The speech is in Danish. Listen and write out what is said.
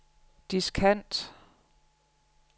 diskant